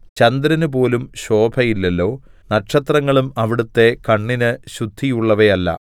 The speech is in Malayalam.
ചന്ദ്രനുപോലും ശോഭയില്ലല്ലോ നക്ഷത്രങ്ങളും അവിടുത്തെ കണ്ണിന് ശുദ്ധിയുള്ളവയല്ല